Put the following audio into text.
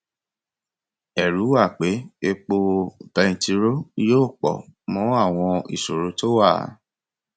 ẹrù wà pé epo bẹntirọ yóò pọ mọ àwọn ìṣòro tó wà